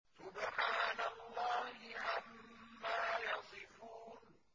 سُبْحَانَ اللَّهِ عَمَّا يَصِفُونَ